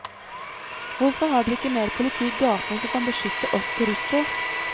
Hvorfor har dere ikke mer politi i gatene som kan beskytte oss turister?